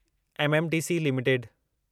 MMTC limited